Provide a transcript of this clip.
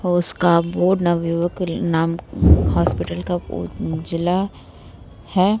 उसका बोर्ड विवका का नाम हॉस्पिटल का बोर्ड जिला है ।